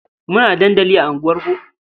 Muna da dandali a unguwarku.